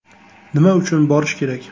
Nima uchun borish kerak?